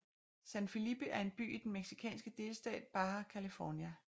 San Felipe er en by i den mexikanske delstat Baja California